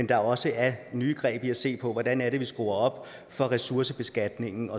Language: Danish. der også er nye greb i at se på hvordan vi skruer op for ressourcebeskatningen